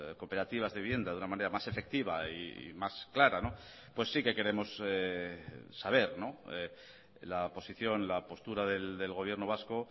cooperativas de vivienda de una manera más efectiva y más clara pues sí que queremos saber la posición la postura del gobierno vasco